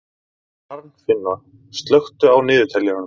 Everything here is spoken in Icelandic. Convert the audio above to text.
Arnfinna, slökktu á niðurteljaranum.